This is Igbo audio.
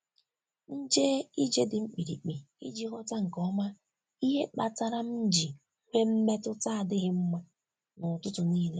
M jee ije dị mkpirikpi iji ghọta nke ọma ihe kpatara m ji nwee mmetụta adịghị mma n’ụtụtụ niile.